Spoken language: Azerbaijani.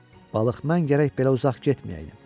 Balıq mən gərək belə uzaq getməyəydim.